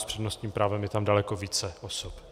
S přednostním právem je tam daleko více osob.